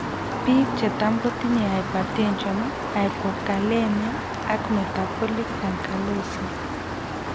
Biik chetam kotinye hypertension, hypokalemia ak metabolik alkalosis